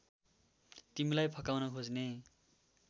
तिमीलाई फकाउन खोज्ने